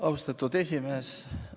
Austatud esimees!